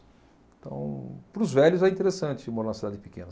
Então, para os velhos é interessante morar numa cidade pequena.